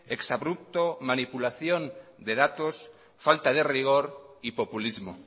exabrupto manipulación de datos falta de rigor y populismo